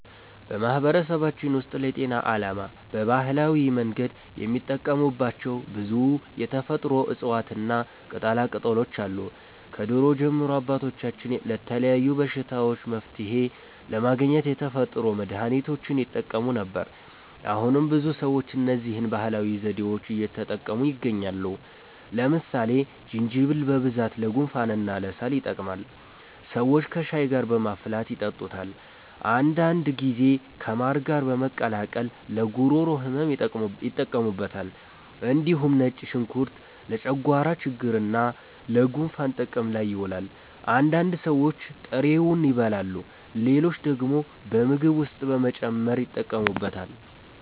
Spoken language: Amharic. በማህበረሰባችን ውስጥ ለጤና ዓላማ በባህላዊ መንገድ የሚጠቀሙባቸው ብዙ የተፈጥሮ እፅዋትና ቅጠላቅጠሎች አሉ። ከድሮ ጀምሮ አባቶቻችን ለተለያዩ በሽታዎች መፍትሔ ለማግኘት የተፈጥሮ መድሀኒቶችን ይጠቀሙ ነበር። አሁንም ብዙ ሰዎች እነዚህን ባህላዊ ዘዴዎች እየተጠቀሙ ይገኛሉ። ለምሳሌ ዝንጅብል በብዛት ለጉንፋንና ለሳል ይጠቅማል። ሰዎች ከሻይ ጋር በማፍላት ይጠጡታል። አንዳንድ ጊዜ ከማር ጋር በመቀላቀል ለጉሮሮ ህመም ይጠቀሙበታል። እንዲሁም ነጭ ሽንኩርት ለጨጓራ ችግርና ለጉንፋን ጥቅም ላይ ይውላል። አንዳንድ ሰዎች ጥሬውን ይበላሉ፣ ሌሎች ደግሞ በምግብ ውስጥ በመጨመር ይጠቀሙበታል።